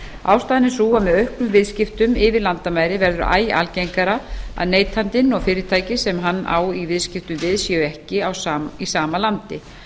ástæðan er sú að með auknum viðskiptum yfir landamæri verður æ algengara að neytandinn og fyrirtæki sem hann á í viðskiptum við séu ekki í sama landi